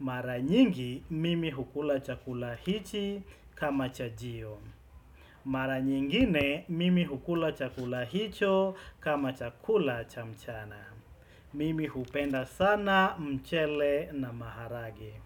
Mara nyingi, mimi hukula chakula hichi kama chajio. Mara nyingine, mimi hukula chakula hicho kama chakula cha mchana. Mimi hupenda sana, mchele na maharage.